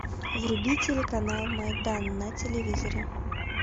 вруби телеканал майдан на телевизоре